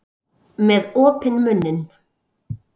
Með opinn munninn.